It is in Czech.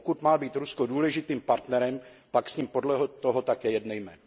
Pokud má být Rusko důležitým partnerem, pak s ním podle toho také jednejme.